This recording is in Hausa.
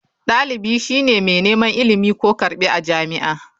Dalibi shi ne mai neman ilimi/karbi a jami'a.